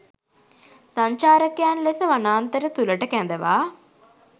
සංචාරකයන් ලෙස වනාන්තර තුළට කැඳවා